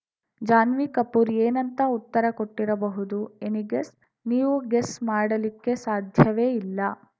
ಜಾನ್ವಿ ಕಪೂರ್‌ ಏನಂತ ಉತ್ತರ ಕೊಟ್ಟಿರಬಹುದು ಎನೀ ಗೆಸ್‌ ನೀವು ಗೆಸ್‌ ಮಾಡಲಿಕ್ಕೆ ಸಾಧ್ಯವೇ ಇಲ್ಲ